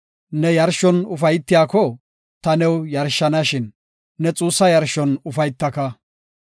Ne yarshon ufaytiyako, ta new yarshanashin, ne xuussa yarshon ufaytaka.